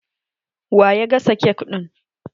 Wa ya gasa kek ɗin?